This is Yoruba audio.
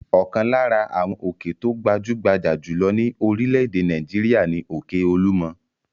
Ọ̀kan lára àwọn òkè tó gbajú-gbajà jù lọ ní orílẹ̀-èdè Nàìjíríà ni òkè Olúmọ.